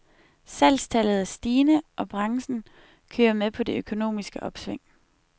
Salgstallet er stigende, og branchen kører med på det økonomiske opsving.